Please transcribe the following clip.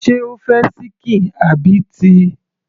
sé o fẹ́ ṣíkìn àbí ti